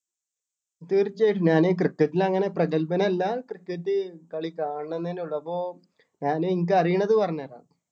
തീർച്ചയായും ഞാന് cricket ൽ അങ്ങനെ പ്രഗൽഭൻ അല്ലാ cricket കളി കാണണെന്നേ ഉള്ളു അപ്പൊ ഞാന് എനിക്ക് അറിയണത് പറഞ്ഞു തരാം.